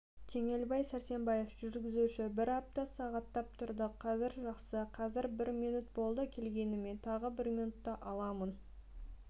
теңелбай сәрсенбаев жүргізуші бір апта сағаттап тұрдық қазір жақсы қазір минут болды келгеніме тағы минутта аламын